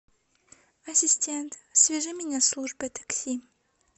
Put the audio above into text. ассистент свяжи меня с службой такси